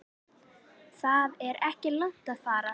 Það er ekki langt að fara.